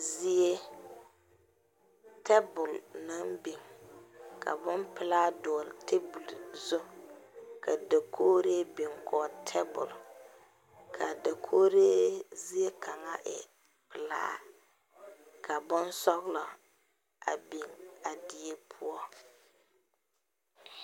Zie tabul naŋ biŋ ka boŋ pulaa dogle tabul zu. Ka dakooreɛ biŋ gɔle tabule. Ka dakooreɛ zie kanga e pulaa ka boŋ sɔglɔ a biŋ a die poʊ.